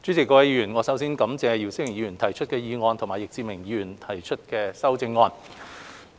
主席、各位議員，我首先感謝姚思榮議員提出議案，以及易志明議員提出修正案。